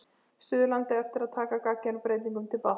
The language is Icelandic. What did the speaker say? Suðurlandi eftir að taka gagngerum breytingum til batnaðar.